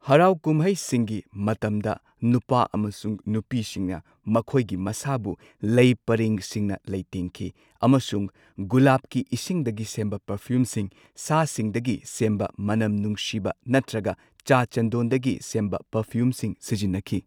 ꯍꯔꯥꯎ ꯀꯨꯝꯍꯩꯁꯤꯡꯒꯤ ꯃꯇꯝꯗ ꯅꯨꯄꯥ ꯑꯃꯁꯨꯡ ꯅꯨꯄꯤꯁꯤꯡꯅ ꯃꯈꯣꯏꯒꯤ ꯃꯁꯥꯕꯨ ꯂꯩ ꯄꯔꯦꯡꯁꯤꯡꯅ ꯂꯩꯇꯦꯡꯈꯤ꯫ ꯑꯃꯁꯨꯡ ꯒꯨꯂꯥꯞꯀꯤ ꯏꯁꯤꯡꯗꯒꯤ ꯁꯦꯝꯕ ꯄꯔꯐꯤꯌꯨꯝꯁꯤꯡ, ꯁꯥꯁꯤꯡꯗꯒꯤ ꯁꯨꯝꯕ ꯃꯅꯝ ꯅꯨꯡꯁꯤꯕ ꯅꯠꯇ꯭ꯔꯒ ꯆꯥ ꯆꯟꯗꯣꯟꯗꯒꯤ ꯁꯦꯝꯕ ꯄꯥꯔꯐꯤꯌꯨꯝꯁꯤꯡ ꯁꯤꯖꯤꯟꯅꯈꯤ꯫